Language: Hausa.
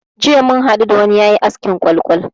Jiya muka hadu da wani yayi askin kwal-kwal.